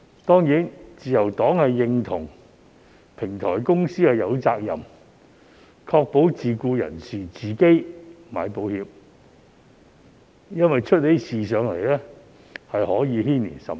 當然，自由黨認同，平台公司有責任確保自僱人士自行買保險，因為一旦出事，可以牽連甚廣。